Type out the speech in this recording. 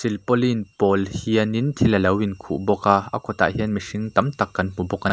silpaulin pawl hian in thil alo in khuh bawk a a kawt ah hian mihring tam tak kan hmu bawk a--